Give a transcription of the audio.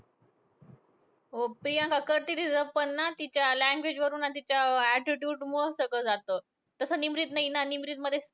हो. प्रियांका करती deserve. पण ना तिच्या language वरून आणि तिच्या attitude मूळचं सगळं जातं. तसं निमरीत नाही ना निमरीतमध्ये,